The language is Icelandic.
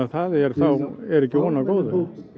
það er þá er ekki von á góðu